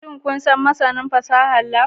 Shin kun san masanin fasahar Lab?